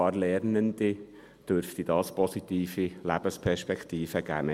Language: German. Dies dürfte immerhin ein paar Lernenden positive Lebensperspektiven geben.